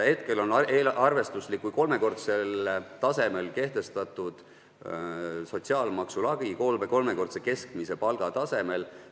Hetkel on see sotsiaalmaksu lagi kolmekordse keskmise palga tasemel.